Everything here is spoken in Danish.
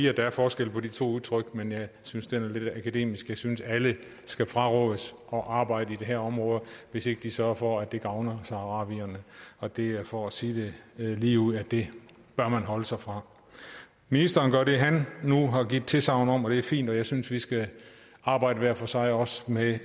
at der er forskel på de to udtryk men jeg synes den er lidt akademisk jeg synes at alle skal frarådes at arbejde i de her områder hvis ikke de sørger for at det gavner saharawierne og det er for at sige ligeud at det bør man afholde sig fra ministeren gør det han nu har givet tilsagn om og det er fint og jeg synes vi skal arbejde hver for sig også med